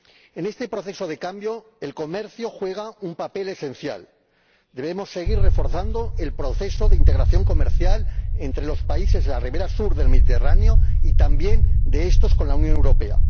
En este proceso de cambio, el comercio juega un papel esencial debemos seguir reforzando el proceso de integración comercial entre los países de la ribera sur del Mediterráneo y también de estos con la Unión Europea.